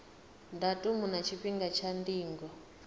datumu na tshifhinga tsha ndingo